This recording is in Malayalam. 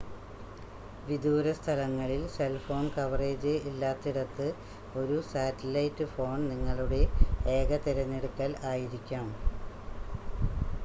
വിദൂര സ്ഥലങ്ങളിൽ സെൽ ഫോൺ കവറേജ് ഇല്ലാത്തിടത്ത് ഒരു സാറ്റലൈറ്റ് ഫോൺ നിങ്ങളുടെ ഏക തിരഞ്ഞെടുക്കൽ ആയിരിക്കാം